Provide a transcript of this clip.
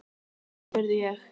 Hví, spurði ég?